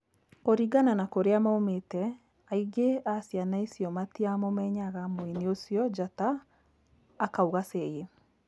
Kũringana na kũrĩa maumĩte, aingĩ a ciana icio matiamũmenyaga mũini ũcio njata’’ akauga Seyi